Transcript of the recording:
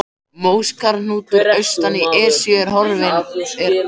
Móskarðshnúkar austan í Esju eru rofinn hraungúll.